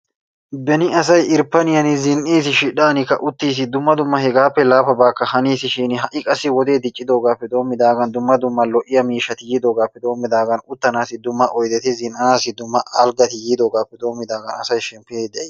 beni asay irppaniyaan uttiis, shidhdhan zin''is, dumma dumma hegappe laafabakka haniisishin ha'i qassi wode diccidoogappe doommidaagan dumma dumma lo''iya miishshati yiidoogappe doommidaagan uttanassi dumma oyddeti, zin''assi dumma alggati yiidoogappe doommidaagan asay shemppide de'ees.